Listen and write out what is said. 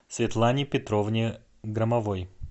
светлане петровне громовой